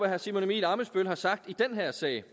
herre simon emil ammitzbøll har sagt i den her sag